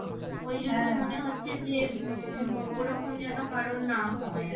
মনে হচ্ছে যে ওরকম যেন কারোর না হয়